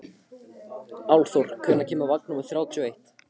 Álfþór, hvenær kemur vagn númer þrjátíu og eitt?